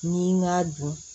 Ni n k'a dun